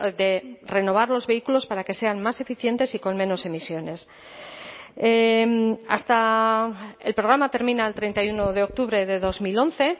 de renovar los vehículos para que sean más eficientes y con menos emisiones hasta el programa termina el treinta y uno de octubre de dos mil once